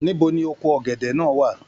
Níbo ní oko ọgẹdẹ náà wà?